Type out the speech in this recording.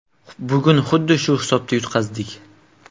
Bugun xuddi shu hisobda yutqazdik.